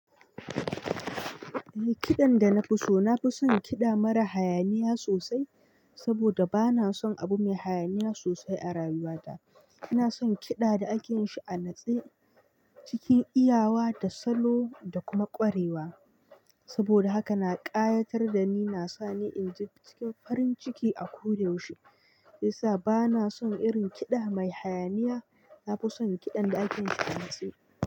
Eh, kiɗan da na fi so, na fi son kiɗa mara hayaniya sosai saboda ba na son abu mai hayaniya sosai a rayuwata. Na son kiɗa da ake yin shi a natse, cikin iyawa da salo da kuma ƙwarewa. Saboda haka na ƙayatar da ni, na sa ni in ji cikin farin ciki a ko da yaushe. Isa, ba na son irin kiɗa mai hayaniya. Na fi son kiɗan da ake yin shi a natse.